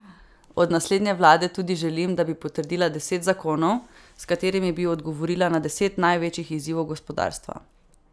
Od naslednje vlade tudi želim, da bi potrdila deset zakonov, s katerimi bi odgovorila na deset največjih izzivov gospodarstva.